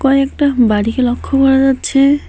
কয়েকটা বাড়িকে লক্ষ্য করা যাচ্ছে।